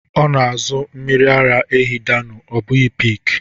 Ọ na-azụ mmiri ara ehi Dano ọ bụghi peak.